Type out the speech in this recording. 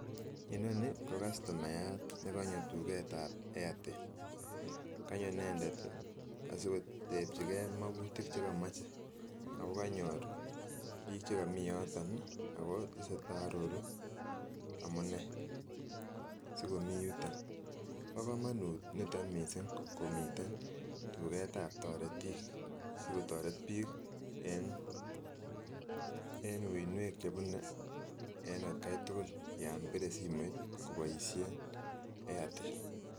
Inonii ko kastomayat nekonyo tuketab Airtel, konyo inendet asikotebchike mokutik chekomoche ako kanyor biik chekomi yoton ak ko chii nearoru amune sikomi yuton, bokomonut niton mising komiten tuketab toretik, sikotoret biik en uinwek chebune en atkai tukul yoon bire simoit koboishen Airtel.